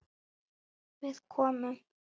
Við komum.